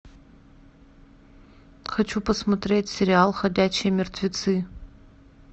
хочу посмотреть сериал ходячие мертвецы